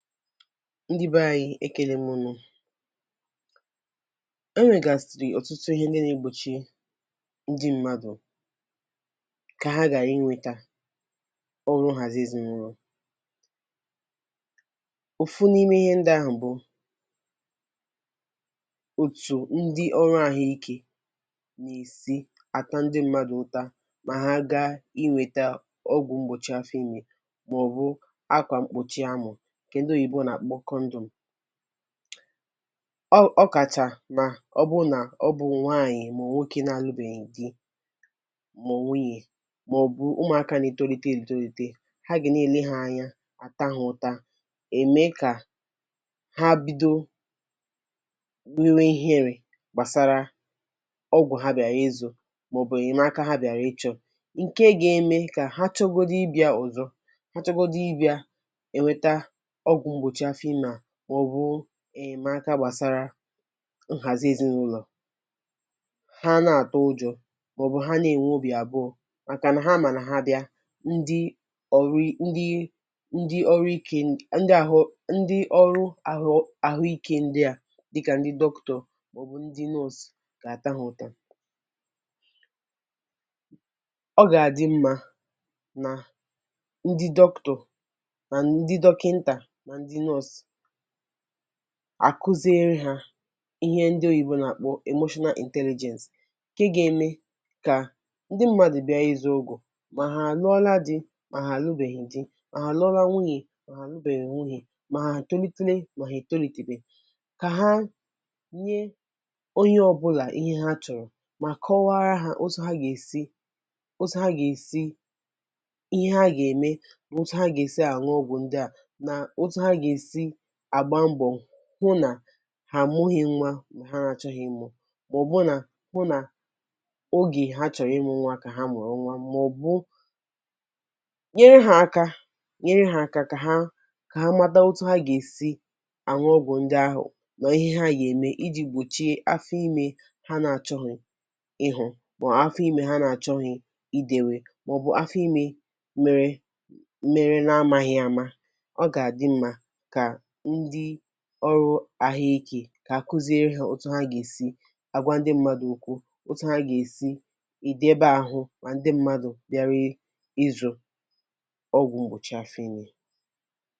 Ndị́ be ànyị́ ekele m unu. E nwègàsị́rị́ ọ̀tụtụ ihe ndị́ na-egbòchi ndị́ mmadụ̀ kà ha ghara inweta ọrụ nhazì ezinụlọ. Ofu n’ime ihe ndị́ ahụ̀ bụ̀, òtù ndị́ ọrụ ahụ ike nà-èsi àta ndị́ mmadụ̀ ụta mà ha gaa inweta ọgwụ̀ mgbòchi afọ ime, mà ọ̀ bụ akwà mkpòchi ámụ̀, nke ndị oyibo n’akpọ condom. Ọ ọ ọ̀kàchà nà ọ bụ nà ọ bụ nwaànyị̀ mà ọ̀ nwoke na-alụbèghị di, mà ọ̀ nwunyè, mà ọ̀ bụ̀ ụ́mùáká na-étólíté étólíté. Ha ga na-èlè há anya, àta ha ụ̀tȧ, ème kà ha bido nwewe ihere gbàsara ọgwụ̀ ha bịàrà ịzụ, mà ọ̀ bụ̀ ènyemaka há bịàrà ịchọ, nke ga-eme kà ha chọgodi ịbịa ọzọ, ha chọgodi ị́bị́a enweta ọgwụ mgbochi afọ ime a, ma ọ bụ̀ enyemaka gbàsara nhàzi ezinụlọ̀, ha ana-àtụ ụjọ, mà ọ̀ bụ̀ ha na-ènwe obì àbụọ màkà nà ha mà nà ha bia, ndị́ ọrụ ndị́ ndị́ ọrụ ike ndị́ ahụ ndị́ ọrụ ahụ ahụike ndị́ à dịkà ndị́ doctor, mà ọ̀ bụ̀ ndị́ nurse gà-àta ha ụta. Ọ gà-àdị mma nà ndị́ doctor nà ndị dọkịntà na ndị ńọọsụ̀ àkuziere ha ihe ndị́ oyibo n’àkpọ emotional intelligence, nke ga-eme kà ndị́ mmadụ̀ bịa ịzụ́ ọgwụ, mà hà àlụọla di mà hà àlụbèghì di, mà hà àlụọla nwunyè mà hà àlụbèghì nwunyè, mà hà etolitele mà hà ètolìtebè, kà ha nye onye ọbụlà ihe ha chọ̀rọ̀, mà kọwara ha otu ha gà-èsi otu ha gà-èsi, ihe ha gà-ème na otu ha gà-èsi àṅụ ọgwụ ndị́ à, nà-otu hà ga esi agba mbọ hụ na há àmughị nwa mà ha na-achọghị̇ ịmụ, mà ọ̀ bụ̀ nà hụ nà ogè ha chọ̀rọ̀ ịmụ nwa kà ha mụrụ nwa, mà ọ̀ bụ̀ nyere ha aka nyere ha aka kà ha kà ha mata otu ha gà-èsi aṅụ ọgwụ̀ ndị́ ahụ̀, na ihe ha ga-èmè iji̇ gbòchie afọ ime ha na-achọghị̇ ị̇hụ̀, mà ọ̀ afọ ime ha na-achọghị̇ ì dèwè, mà ọ̀ bụ̀ afọ ime mere mere na-amaghị̇ ama. Ọ ga adị mma ka ndị́ ọrụ ahụ ike, kà àkuziere ha otu ha gà-èsi agwa ndị́ mmadụ̀ ókwú, otu ha gà-èsi edebe ahụ mà ndị́ mmadụ̀ bịawa izụ̀ ọgwụ̀ mgbòchi àfọ ime.